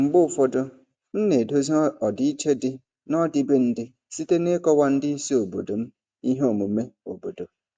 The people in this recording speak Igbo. Mgbe ụfọdụ, m na-edozi ọdịiche dị n'ọdịbendị site n'ịkọwa ndị isi obodo m ihe omume obodo.